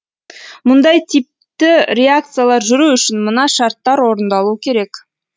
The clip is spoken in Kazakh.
мұндай типті реакциялар жүру үшін мына шарттар орындалуы керек